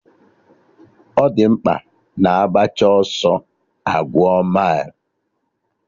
Ọ di mkpa na agbacha ọsọ a gụọ mailụ